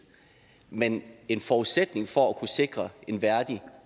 men en forudsætning for at kunne sikre en værdig